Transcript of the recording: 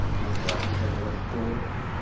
с мотивацией того что